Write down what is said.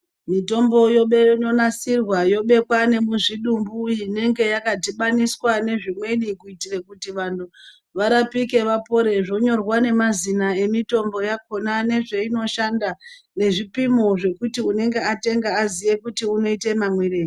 Mitombo yodeinonasirwa yobekwe nemuzvidumbu inenge yakadhibaniswa nezvimweni kuitira kuti vantu varapike vapore zvonyorwa nemazina emitombo yakona nezveinoshanda nezvipimo zvekuti unenge atenga aziye kuti unoite mamwirei .